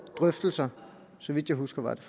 drøftelser så vidt jeg husker var det